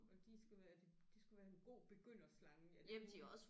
Og de skal være de de skulle være en god begynderslange er det ikke